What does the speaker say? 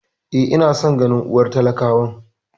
E, ina son ganin unguwar talakawan.